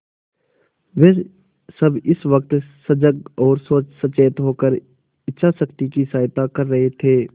वे सब इस वक्त सजग और सचेत होकर इच्छाशक्ति की सहायता कर रहे थे